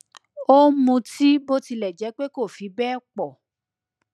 ó ń mutí bó tilẹ jẹ pé kò fi bẹẹ pọ